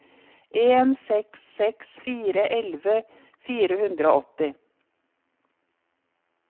en seks seks fire elleve fire hundre og åtti